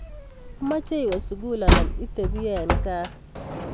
Imeche iwe sukul anan itebi eng gaa?